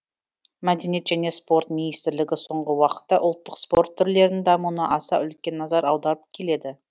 мәдениет және спорт министрлігі соңғы уақытта ұлттық спорт түрлерінің дамуына аса үлкен назар аударып келеді